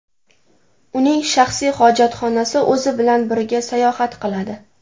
Uning shaxsiy hojatxonasi o‘zi bilan birga sayohat qiladi.